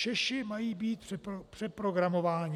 Češi mají být přeprogramováni.